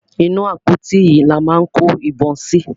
Inú àpótí yìí ni a máa kó ìbọn sí.